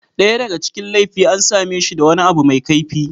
Daya daga cikin laifi an same shi da wani abu mai kaifi.